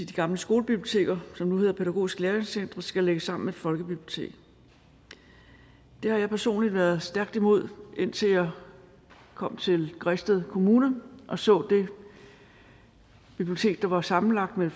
de gamle skolebiblioteker som nu hedder pædagogiske læringscentre skal lægges sammen med folkebibliotekerne det har jeg personligt været stærkt imod indtil jeg kom til græsted kommune og så det bibliotek der var sammenlagt af